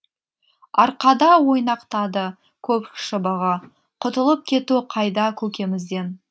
арқада ойнақтады көк шыбығы құтылып кету қайда көкемізден